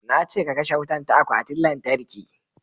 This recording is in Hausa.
Na ce ka kashe wutan ta akwatin lantarki"